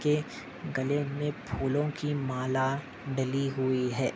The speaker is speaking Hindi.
के गले मे फूलों की माला डली हुई है।